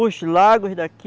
Os lagos daqui,